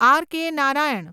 R .K. Narayan